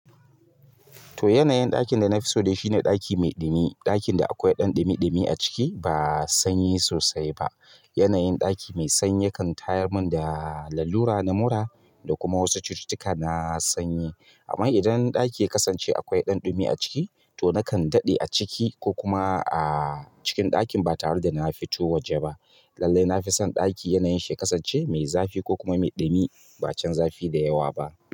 To, yanayin ɗakin da na fi so shine ɗaki mai dumi. Ɗakin da akwai ɗan ɗumi-ɗumi a ciki ba sanyi sosai ba. Yanayin ɗaki mai sanyi yakan tayar mun da lallura, namura, da kuma wasu cututtuka na sanyi. Amma idan ɗaki ya kasance akwai ɗanɗumi a ciki, to nakan daɗe a ciki ko kuma a cikin ɗakin ba tare da na fito waje ba. Lallai na fi son ɗaki yanayin shi ya kasance mai zafi ko kuma mai ɗumi ba can zafi da yawa ba.